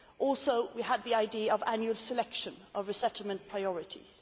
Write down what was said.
We also had the idea of annual selection of resettlement priorities.